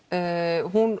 hún